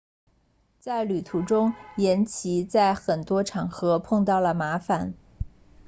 在旅途中岩崎在很多场合碰到了麻烦